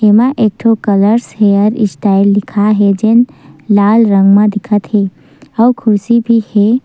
एमा एक ठो कलर्स हेयर स्टाइल लिखाए हे जेन लाल रंग में दिखथे अउ खुर्शी बी हे।